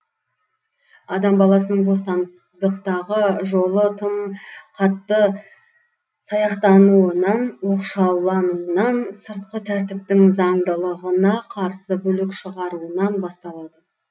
адам баласының бостандықтағы жолы тым қатты саяқтануынан оқшаулануынан сыртқы тәртіптің заңдылығына қарсы бүлік шығаруынан басталады